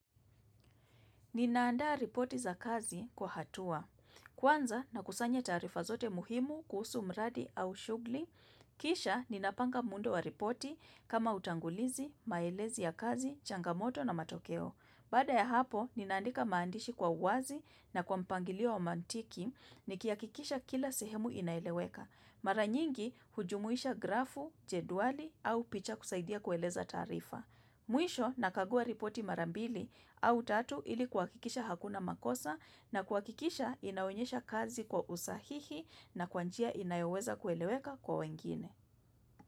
Ninaandaa ripoti za kazi kwa hatua. Kwanza nakusanya taarifa zote muhimu kuhusu mradi au shuguli. Kisha ninapanga muundo wa ripoti kama utangulizi, maelezi ya kazi, changamoto na matokeo. Baada ya hapo, ninaandika maandishi kwa uwazi na kwa mpangilio wa mantiki ni kiakikisha kila sehemu inaeleweka. Maranyingi, hujumuisha grafu, jedwali au picha kusaidia kueleza taarifa. Mwisho, nakagua ripoti mara mbili au tatu ili kuwakikisha hakuna makosa na kuwakikisha inaonyesha kazi kwa usahihi na kwa njia inayoweza kueleweka kwa wengine.